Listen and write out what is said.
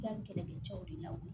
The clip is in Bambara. I ka nin kɛlɛ kɛ cɛw de la